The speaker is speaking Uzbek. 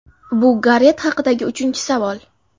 Bu Garet haqidagi uchinchi savol.